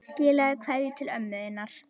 Skilaðu kveðju til ömmu þinnar.